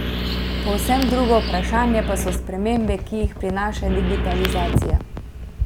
Povsem drugo vprašanje pa so spremembe, ki jih prinaša digitalizacija.